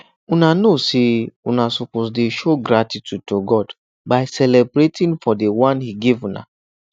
una no know say una go dey show gratitude to god by celebrating for the one he give una